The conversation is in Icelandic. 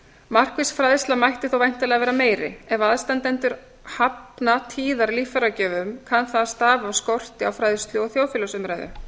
markviss fræðsla mætti þó væntanlega vera meiri ef aðstandendur hafna tíðar líffæragjöfum kann það að stafa af skorti á fræðslu og þjóðfélagsumræðu